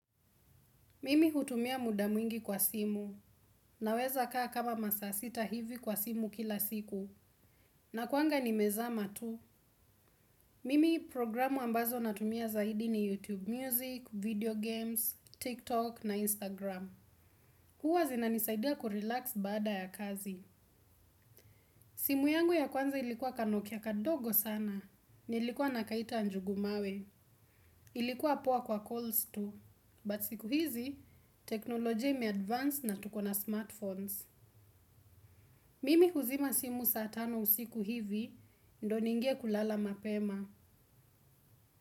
Mimi hutumia muda mwingi kwa simu. Naweza kaa kama masaa sita hivi kwa simu kila siku. Nakuanga nimezama tu. Mimi programu ambazo natumia zaidi ni YouTube Music, Video Games, TikTok na Instagram. Huwa zinanisaidia kurelax baada ya kazi. Simu yangu ya kwanza ilikuwa kanokia kadogo sana. Nilikuwa nakaita njugumawe. Ilikuwa poa kwa calls tu. But siku hizi, teknolojia imeadvance na tukona smartphones. Mimi huzima simu saa tano usiku hivi, ndio niingie kulala mapema.